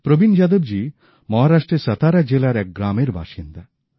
প্রবীণ যাদবজী মহারাষ্ট্রের সতারা জেলার এক গ্রামের বাসিন্দা